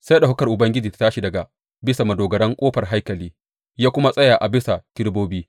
Sai ɗaukakar Ubangiji ya tashi daga bisa madogarar ƙofar haikali ya kuma tsaya a bisa kerubobi.